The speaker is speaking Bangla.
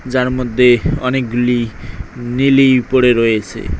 যার মধ্যে অনেকগুলি নিলি পড়ে রয়েছে।